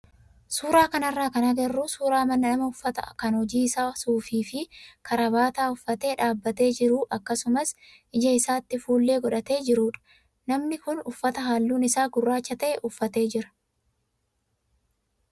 Suuraa kanarraa kan agarru suuraa nama uffata kan hojii isaa suufii fi karabaataa uffatee dhaabbatee jiru akkasumas ija isaatti fuullee godhatee jirudha. Namni kun uffata halluun isaa gurraacha ta'e uffatee jira.